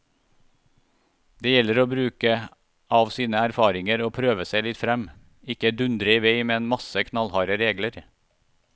Det gjelder å bruke av sine erfaringer og prøve seg litt frem, ikke dundre i vei med en masse knallharde regler.